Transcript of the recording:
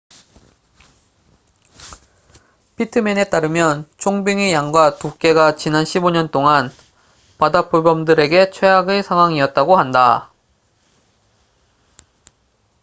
피트맨에 따르면 총빙의 양과 두께가 지난 15년 동안 바다표범들에게 최악의 상황이었다고 한다